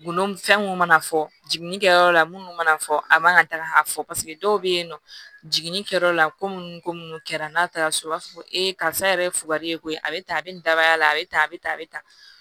Golo mun fɛn mun mana fɔ jiginni kɛyɔrɔ la munnu mana fɔ a man ka taaga fɔ paseke dɔw be yen nɔ jiginni kɛyɔrɔ la ko munnu ko munnu kɛra n'a taara so u b'a fɔ ko ee karisa yɛrɛ ye fugari ye koyi a bɛ tan a bɛ nin daba y'a la a bɛ tan a bɛ tan a bɛ tan